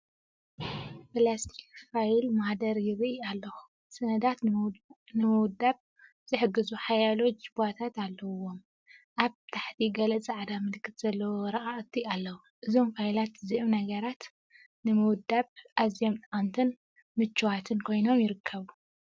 ፕላስቲክ ፋይል ማህደር ይርኢ ኣለኹ። ሰነዳት ንምውዳብ ዝሕግዙ ሓያሎ ጁባታት ኣለዎም። ኣብ ታሕቲ ገለ ጻዕዳ ምልክት ዘለዎም ወረቓቕቲ ኣለዉ። እዞም ፋይላት እዚኦም ንነገራት ንምውዳብ ኣዝዮም ጠቐምትን ምቹኣትን ኮይኖም ይርከቡ።